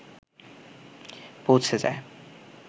পৌঁছে যায়